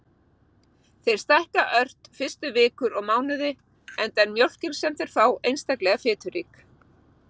Þeir stækka ört fyrstu vikur og mánuði enda er mjólkin sem þeir fá einstaklega fiturík.